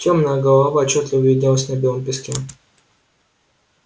тёмная голова отчётливо виднелась на белом песке